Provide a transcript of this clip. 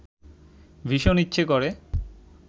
ভীষণ ইচ্ছে করে